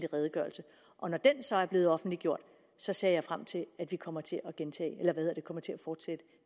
redegørelse og når den så er blevet offentliggjort ser jeg frem til at vi kommer til at fortsætte